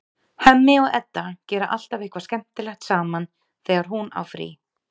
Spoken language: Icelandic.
Hemmi og Edda gera alltaf eitthvað skemmtilegt saman þegar hún á frí.